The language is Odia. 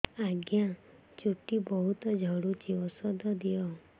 ଆଜ୍ଞା ଚୁଟି ବହୁତ୍ ଝଡୁଚି ଔଷଧ ଦିଅ